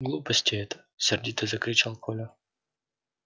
глупости это сердито закричал коля